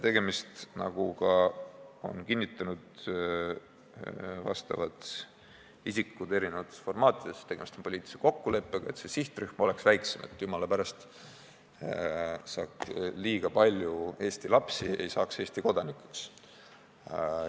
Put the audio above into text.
Tegemist on – nagu on kinnitanud ka vastavad isikud erinevates formaatides – poliitilise kokkuleppega: et sihtrühm oleks väiksem ja et jumala pärast liiga palju Eesti lapsi ei saaks Eesti kodanikuks.